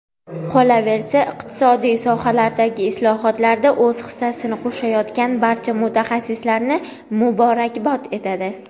qolaversa iqtisodiy sohalardagi islohotlarda o‘z hissasini qo‘shayotgan barcha mutaxassislarni muborakbod etadi.